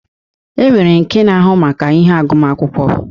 E nwere nke na-ahụ maka ihe agụma akwụkwọ.